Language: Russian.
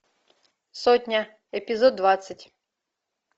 сотня эпизод двадцать